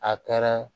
A kɛra